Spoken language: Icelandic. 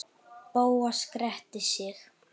Bóas gretti sig.